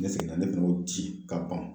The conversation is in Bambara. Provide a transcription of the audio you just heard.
Ne seginna ne fɛnɛ y'o di ka pan